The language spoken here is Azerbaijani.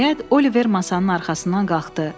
Nəhayət, Oliver masanın arxasından qalxdı.